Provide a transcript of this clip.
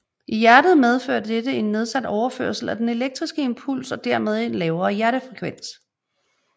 I hjertet medfører dette en nedsat overførsel af den elektriske impuls og dermed en lavere hjertefrekvens